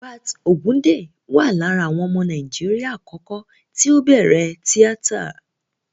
Hubert Ògúǹdè wà lára àwọn ọmọ Nàíjíríà àkọ́kọ́ tí ó bẹ̀rẹ̀ tíátà.